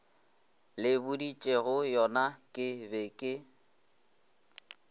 le boditšegoyona ke be ke